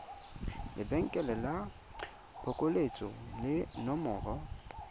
lebenkele la phokoletso le nomoro